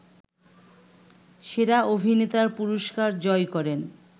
সেরা অভিনেতার পুরস্কার জয় করেন